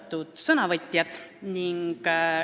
Austatud sõnavõtjad!